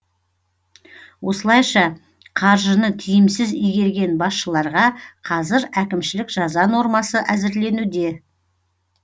осылайша қаржыны тиімсіз игерген басшыларға қазір әкімшілік жаза нормасы әзірленуде